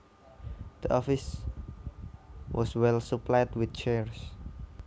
The office was well supplied with chairs